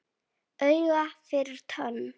Auga fyrir tönn.